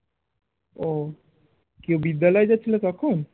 ও কি বিদ্যালয় যাচ্ছিলো তখন?